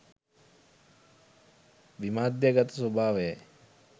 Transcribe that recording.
විමධ්‍යගත ස්වභාවයයි.